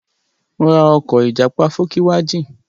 Mo ra ọkọ̀ ìjàpá fókíwajìn.